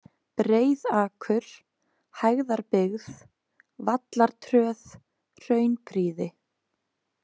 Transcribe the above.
Breiðakur, Hæðarbyggð, Vallartröð, Hraunprýði